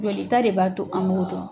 Jolita de b'a to an m'o dɔn.